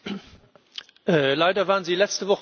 Leider waren Sie letzte Woche nicht in Paris.